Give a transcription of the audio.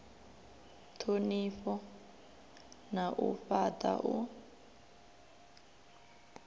thonifha na u fhata u